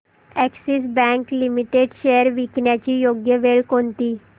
Axis Bank Limited shares विकण्याची योग्य वेळ कोणती